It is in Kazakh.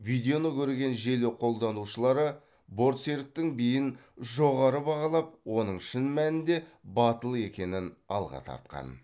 видеоны көрген желі қолданушылары бортсеріктің биін жоғары бағалап оның шын мәнінде батыл екенін алға тартқан